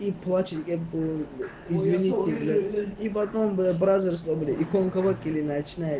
и плачет где был извините и потом бы образуя смотри он колготки и ночные